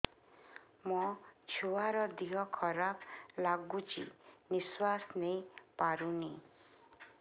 ମୋ ଛୁଆର ଦିହ ଖରାପ ଲାଗୁଚି ନିଃଶ୍ବାସ ନେଇ ପାରୁନି